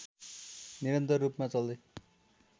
निरन्तर रूपमा चल्दै